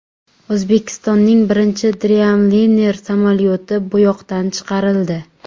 O‘zbekistonning birinchi Dreamliner samolyoti bo‘yoqdan chiqarildi .